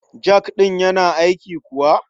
Jak ɗin yana aiki kuwa?